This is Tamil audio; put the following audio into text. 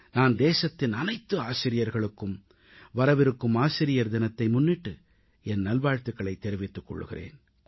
நான் தேசத்தின் அனைத்து ஆசிரியர்களுக்கும் வரவிருக்கும் ஆசிரியர் தினத்தை முன்னிட்டு என் நல்வாழ்த்துகளைத் தெரிவித்துக் கொள்கிறேன்